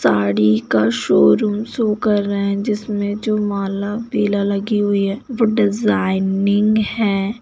साड़ी का showroom show कर रहे हैं जिसमें जो माला पीला लगी हुई हैं वो डिज़ाइनिंग है।